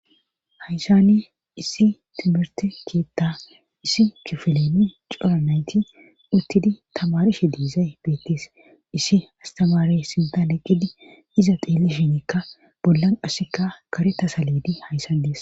haysani issi timirte keetta issi kifileni cora nayti uttidi tamarishe diizay beettis issi astamaare sintan eqqidi iza xeelli shinikka bollan assika kare ta saleedi hayssan dees